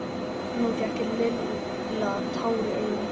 Nú fékk Lilla tár í augun.